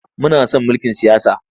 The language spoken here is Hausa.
Muna son mulkin siyasa.